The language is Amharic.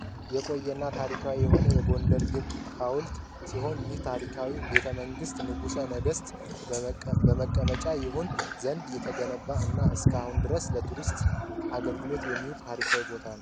የቆየና ታሪካዊ የሆነው የጎንደር ግንብ ሀውልት ሲሆን ይህ ታሪካዊ ቤተመንግስት ንጉሰ ነገስት መቀመጫ ይሆን ዘንድ የተነገነባ እና እስካሁን ድረስ ለቱሪስት አገልግሎት የሚውል ታሪካዊ ቦታ ነው።